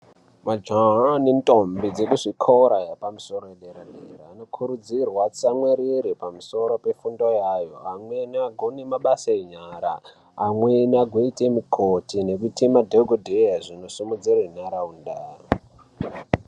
Majaha nendombi dzekuzvikora yepamusoro yederedera anokurudzirwa atsamwirire pamusoro pefundo yaayo. Amweni agone mabasa enyara, amweni agoite mukoti nekuite madhokodheya zvinosimudzira nharaunda